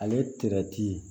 Ale